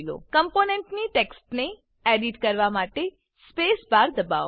કમ્પોનેંટની ટેક્સ્ટને એડીટ કરવા માટે સ્પેસ બાર દબાવો